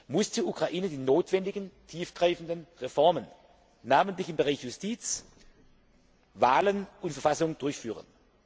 kann, muss die Ukraine die notwendigen tiefgreifenden Reformen, besonders in den Bereichen Justiz, Wahlen und Verfassung durchführen